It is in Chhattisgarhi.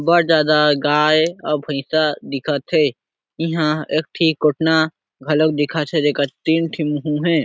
बहुत ज्यादा गाय और भईसा दिखत हे इहा एकठी कोटना घलोक दिखत है जेकर तीन ठी मुहु हे।